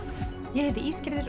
ég heiti